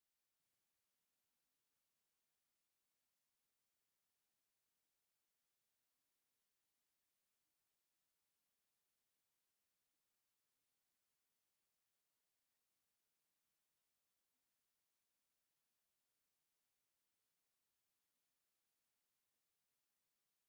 እዚ ኣብ መሬት ፋሕ ኢሎም ዝነቐጹ ተኽልታት ዘርኢ ምስሊ እዩ። ቆጽሎም ደረቕ ኮይኑ ናይ ቀውዒ ግዜ ዘመልክት ይመስል። እዚ ንሓደ ሓረስታይ ዝገብሮ ጻዕሪ ዝገልጽ ምስሊ ኮይኑ፡ ንዕውትነትን ሓጎስን ወቕቲ ቀውዒ ዘብርህ እዩ።